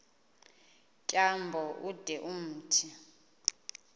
tyambo ude umthi